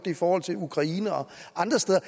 i forhold til ukraine og andre steder